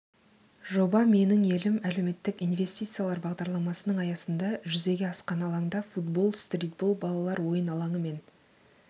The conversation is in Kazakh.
жоба менің елім әлеуметтік инвестициялар бағдарламасының аясында жүзеге асқан алаңда футбол стритбол балалар ойын алаңы мен